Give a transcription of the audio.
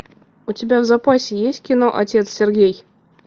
у тебя в запасе есть кино отец сергей